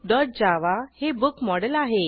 bookजावा हे book model आहे